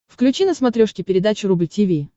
включи на смотрешке передачу рубль ти ви